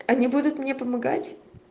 они будут мне помогать